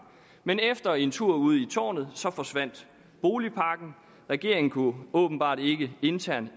men efter en tur ud i tårnet forsvandt boligpakken regeringen kunne åbenbart ikke enes internt